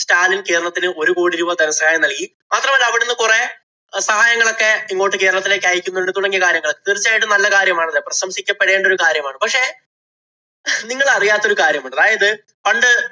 സ്റ്റാലിന്‍ കേരളത്തിനു ഒരു കോടി രൂപ ധനസഹായം നല്‍കി. മാത്രമല്ല, അവിടുന്ന് കൊറേ സഹായങ്ങളൊക്കെ ഇങ്ങോട്ട് കേരളത്തിലേക്ക് അയക്കുന്നുണ്ട് തുടങ്ങിയ കാര്യങ്ങളൊക്കെ. തീര്‍ച്ചയായിട്ടും നല്ല കാര്യമാണല്ലോ. പ്രശംസിക്കപ്പെടേണ്ട ഒരു കാര്യമാണ്. പക്ഷേ, നിങ്ങള് അറിയാത്ത ഒരു കാര്യമുണ്ട്. അതായത്, പണ്ട്